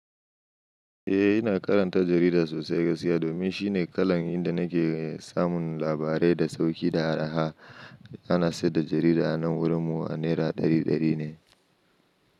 Eh, ina karanta jarida sosai gaskiya domin shine kalan inda nake samun labarai da sauƙi da araha. Ana saida jarida na wurinmu a naira ɗari, ɗari ne.